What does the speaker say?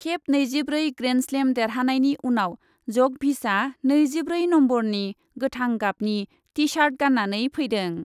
खेब नैजिब्रै ग्रेन्डस्लेम देरहानायनि उनाव जकभिचआ नैजिब्रै नम्बरनि गोथां गाबनि टि सार्ट गान्नानै फैदों।